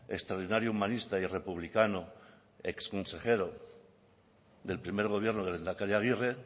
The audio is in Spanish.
extraordinario humanista y republicano exconsejero del primer gobierno del lehendakari aguirre